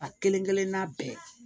A kelen kelenna bɛɛ